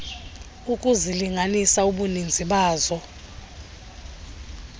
ukuzilinganisa ubuninzi bazo